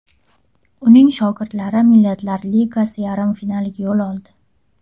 Uning shogirdlari Millatlar Ligasi yarim finaliga yo‘l oldi.